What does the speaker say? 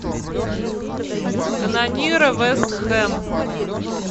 канониры вест хэм